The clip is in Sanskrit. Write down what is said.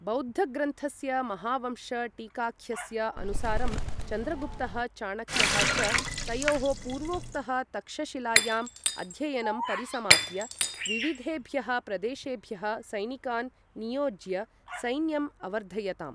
बौद्धग्रन्थस्य महावंश टीकाख्यस्य अनुसारं, चन्द्रगुप्तः चाणक्यः च, तयोः पूर्वोक्तः तक्षशिलायाम् अध्ययनं परिसमाप्य, विविधेभ्यः प्रदेशेभ्यः सैनिकान् नियोज्य सैन्यम् अवर्धयताम्।